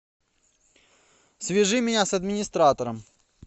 свяжи меня с администратором